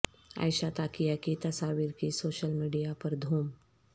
عائشہ تاکیہ کی تصاویر کی سوشل میڈیا پر دھوم